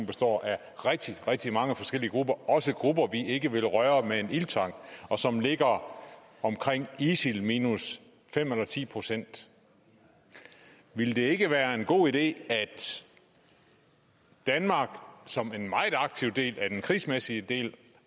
består af rigtig rigtig mange forskellige grupper også grupper vi ikke ville røre med en ildtang og som ligger omkring isil minus fem ti procent ville det ikke være en god idé at danmark som en meget aktiv del af den krigsmæssige del